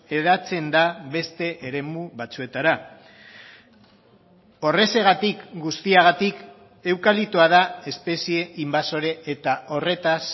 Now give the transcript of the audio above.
hedatzen da beste eremu batzuetara horrexegatik guztiagatik eukaliptoa da espezie inbasore eta horretaz